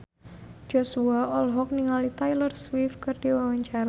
Joshua olohok ningali Taylor Swift keur diwawancara